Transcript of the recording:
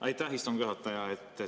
Aitäh, istungi juhataja!